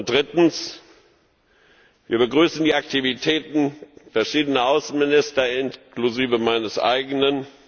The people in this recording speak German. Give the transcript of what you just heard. Drittens Wir begrüßen die Aktivitäten verschiedener Außenminister inklusive meines eigenen.